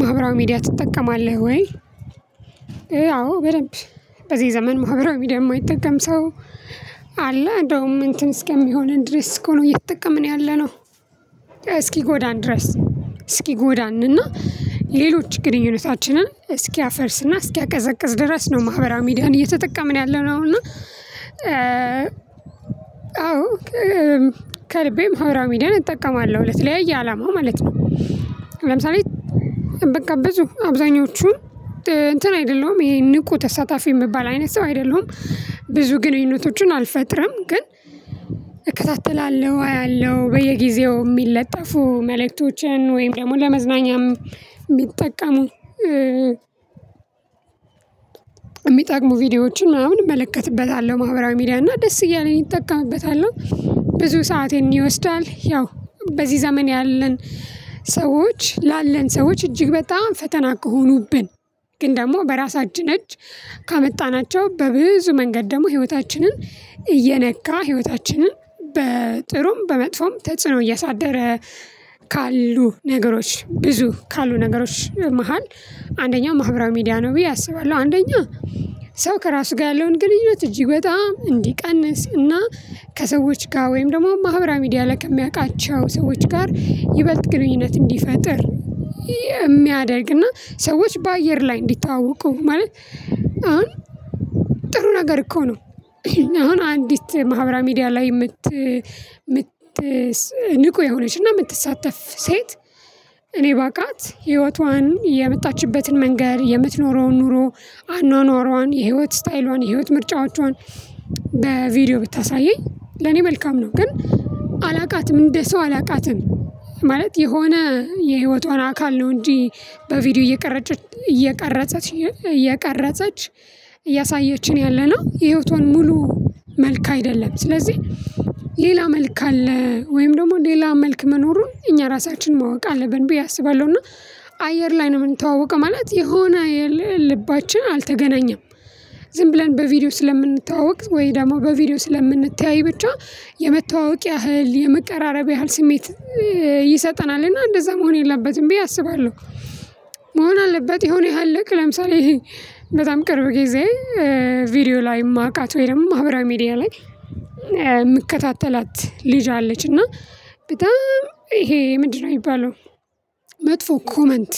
ማህበራዊ ሚዲያ ትጠቀማለህ ወይ? አዎ በደንብ በዚህ ዘመን ማህበራዊ ሚዲያ የተጠቀም ሰው አለ እንደውም እንትን እስከሚሆንን ድረስ እኮ ነው እየተጠቀምን ያለነው። እስኪ ጎዳን ድረስ። እስኪ ጎዳን እና ሌሎች ግንኙነታችንን እስኪ አፈርስና እስኪ አቀዘቀዝ ድረስ ነው ማህበራዊ ሚዲያን እየተጠቀምን ያለነው። እና እና አዎ ከልቤ መውራሚደን እጠቀማለሁ እለት ለያየ አላማው ማለት ነው። ለምሳሌ በጋበዙ አብዛኞቹን እንትን አይደለሁም ይሄ ንቁ ተሳታፊ የሚባል አይነት ሰው አይደለሁም። ብዙ ግንኙነቶችን አልፈጥርም ግን። እከታተላለሁ አያለሁ በየጊዜው የሚለጠፉ መልእክቶችን ወይም ደግሞ ለመዝናኛም የሚጠቀሙ የሚጠቅሙ ቪዲዮዎችን ምናምን እመለከትበታለሁ ማህበራዊ ሚዲያ እና ደስ እያለኝ ይጠቀምበታለው። ብዙ ሰአቴን ይወስዳል። ያው በዚህ ዘመን ያለን ሰዎች ላለን ሰዎች እጅግ በጣም ፈተና ከሆኑብን። ግን ደግሞ በራሳችን እጅ ካመጣናቸው በብዙ መንገድ ደግሞ ህይወታችንን እየነካ ህይወታችንን በጥሩም በመጥፎም ተጽዕኖ እያሳደረ። ካሉ ነገሮች ብዙ ካሉ ነገሮች መሃል አንደኛው ማህበራዊ ሚዲያ ነው ብዬ አስባለሁ። አንደኛ ሰው ከራሱ ጋር ያለውን ግንኙነት እጅግ በጣም እንዲቀንስ እና ከሰዎች ጋር ወይም ደግሞ ማህበራ ሚድያ ላይ ከሚያውቃቸው ሰዎች ጋር ይበልጥ ግንኙነት እንዲፈጥር። የሚያደርግና ሰዎች በአየር ላይ እንዲታወቁ ማለት አሁን ጥሩ ነገር እኮ ነው። አሁን አንዲት ማህበራ ሚዲያ ላይ የምት የምት ንቁ የሆነች እና የምትሳተፍ ሴት። እኔ ባቃት ህይወቷን የመጣችበትን መንገር የምትኖረውን ኑሮ አኗኗሯን የህይወት ስታይሏን የህይወት ምርጫዎቿን በቪዲዮ ብታሳየኝ ለኔ መልካም ነው። ግን አላውቃትም እንደ ሰው አላውቃትም። ማለት የሆነ የህይወቷን አካል ነው። እንጂ በቪዲዮ እየቀረጸች እያቀረጸች እያሳየችኝ ያለነው የህይወቷን ሙሉ መልክ አይደለም። ስለዚህ ሌላ መልክ አለ ወይም ደግሞ ሌላ መልክ መኖሩን እኛ ራሳችን ማወቅ አለብን ብዬ አስባለሁ። እና አየር ላይ ነው የምንተዋወቀው ማለት የሆነ ልባችን አልተገናኘም። ዝም ብለን በቪዲዮ ስለምንተዋወቅ ወይ ደግሞ በቪዲዮ ስለምንተያይ ብቻ የመተዋወቅ ያህል የመቀራረብ ያህል ስሜት ይሰጠናል እና እንደዛ መሆን የለበትም ብዬ አስባለሁ። መሆን አለበት የሆነ ያህል ለምሳሌ በጣም ቅርብ ጊዜ ቪዲዮ ላይ የማውቃት ወይም ማህበራዊ ሚዲያ ላይ የምከታተላት ልጅ አለች እና በጣም ይሄ ምንድነው? የሚባለው መጥፎ ኮመንት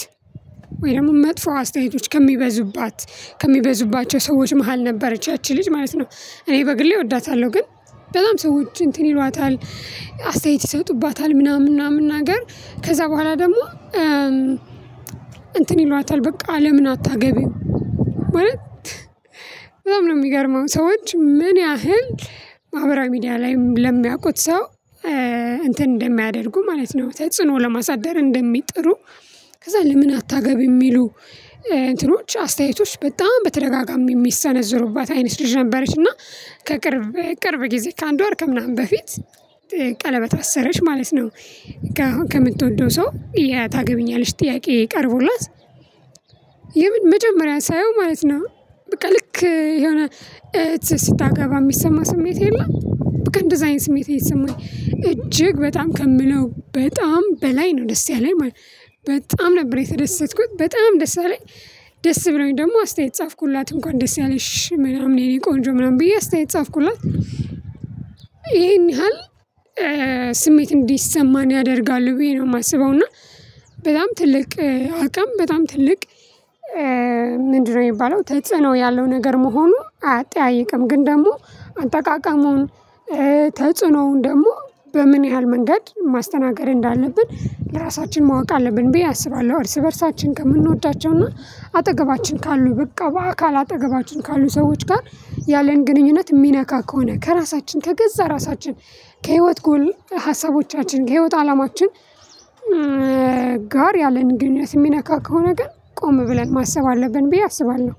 ወይ ደግሞ መጥፎ አስተያየቶች ከሚበዙባት ከሚበዙባቸው ሰዎች መሃል ነበረች ያቺ ልጅ ማለት ነው። እኔ በግሌ እወዳታለሁ ግን በጣም ሰዎች እንትን ይሏታል። አስተያየት ይሰጡባታል ምናምን ምናምን ነገር ከዛ በኋላ ደግሞ እንትን ይሏታል በቃ ለምን አታገቢም? ማለት በጣም ነው የሚገርመው ሰዎች ምን ያህል ማህበራዊ ሚዲያ ላይም ለሚያውቁት ሰው እንትን እንደሚያደርጉ ማለት ነው። ተጽዕኖ ለማሳደር እንደሚጥሩ ከዛ ለምን አታገቢም ሚሉ እንትኖች አስተያየቶች በጣም በተደጋጋሚ የሚሰነዝሩባት አይነት ልጅ ነበረች። እና ከቅርብ በቅርብ ጊዜ ከአንድ ወር ከምናምን በፊት ቀለበት አሰረች ማለት ነው። ከምትወደው ሰው ታገቢኛለች ጥያቄ ቀርቦላት የምን መጀመሪያ ሳየው ማለት ነው። በቃ ልክ የሆነ ስታገባ የሚሰማ ስሜት የለም በቃ እንደዛ አይነት ስሜት የሰማኝ እጅግ በጣም ከምለው በጣም በላይ ነው ደስ ያለኝ። በጣም ነበር የተደሰትኩት በጣም ደስ አለኝ። ደስ አለኝ ደግሞ አስተያየት ጻፍኩላት እንኳን ደስ ያለሽ ምናምን የኔ ቆንጆ ምናምን ብዬ አስተያየት ጻፍኩላት። ይሄን ያህል ስሜት እንዲሰማን ያደርጋል ብዬ ነው የማስበው። እና በጣም ትልቅ አቅም በጣም ትልቅ ምንድነው የሚባለው ተጽዕኖ ያለው ነገር መሆኑ አያጠያይቅም። ግን ደግሞ አጠቃቀሙን ተጽዕኖውን ደግሞ በምን ያህል መንገድ ማስተናገድ እንዳለብን ለራሳችን ማወቅ አለብን ብዬ አስባለሁ። እርስ በእርሳችን ከምንወዳቸው እና አጠገባችን ካሉ በቃ በአካል አጠገባችን ካሉ ሰዎች ጋር ያለን ግንኙነት የሚነካ ከሆነ ከራሳችን ከገዛ ራሳችን። ከህይወት ጎል ሀሳቦቻችን ከህይወት አላማችን። ጋር ያለን ግንኙነት የሚነካ ከሆነ ግን ቆም ብለን ማሰብ አለብን ብዬ አስባለሁ።